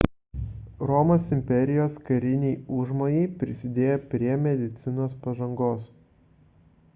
romos imperijos kariniai užmojai prisidėjo prie medicinos pažangos